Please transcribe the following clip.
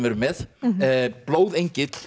erum með